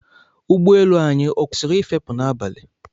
Ụgbọ elu anyị ọ kwesịrị ị fepụ n'abalị?